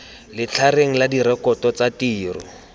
letlhareng la direkoto tsa tiro